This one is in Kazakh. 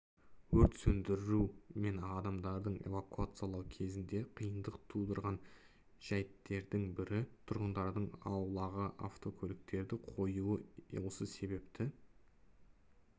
өрт сөндіру мен адамдарды эвакуациялау кезінде қиындық тудырған жәйттердің бірі тұрғындардың аулаға автокөліктерді қоюы осы себепті